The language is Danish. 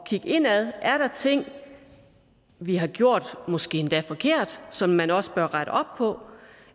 kigge indad er der ting vi har gjort måske endda forkert som man også bør rette op på